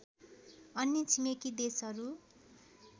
अन्य छिमेकी देशहरू